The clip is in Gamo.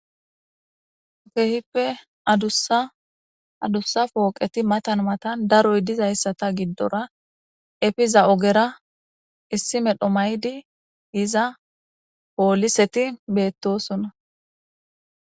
kehippe dadussa pooqeti matan matan daroy dizayssata giddora efiza ogera issi medho maydi yiza pooliseti beettosona.